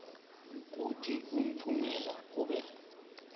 ukuthi umphumela kube